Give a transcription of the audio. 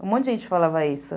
Um monte de gente falava isso.